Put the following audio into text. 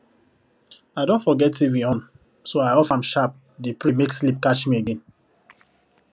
i don forget tv on so i off am sharp dey pray make sleep catch me again